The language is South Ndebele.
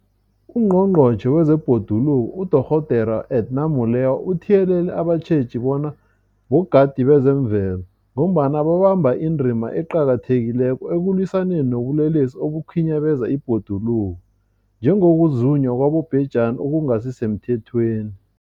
UNgqongqotjhe wezeBhoduluko uDorh Edna Molewa uthiyelele abatjheji bona bogadi bezemvelo, ngombana babamba indima eqakathekileko ekulwisaneni nobulelesi obukhinyabeza ibhoduluko, njengokuzunywa kwabobhejani okungasisemthethweni.